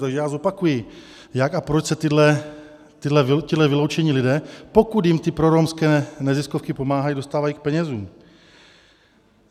Takže já zopakuji, jak a proč se tihle vyloučení lidé, pokud jim ty proromské neziskovky pomáhají, dostávají k penězům.